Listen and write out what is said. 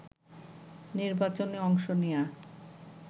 নির্বাচনে অংশ নেয়া